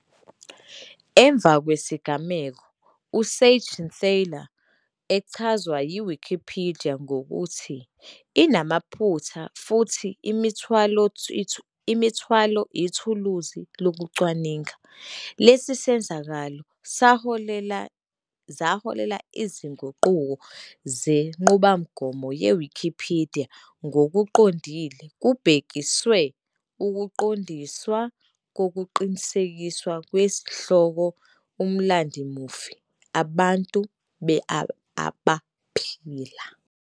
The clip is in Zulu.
Emva kwesigameko, uSeigenthaler echazwe yiWikipidiya ngokuthi "inamaphutha futhi imithwalo ithuluzi lokucwaninga". Lesi senzakalo zaholela izinguquko zenqubomgomo yeWikipidiya, ngokuqondile kubhekiswe ukuqiniswa kokuqinisekiswa kwezihloko umlandvomufi abantu abaphila.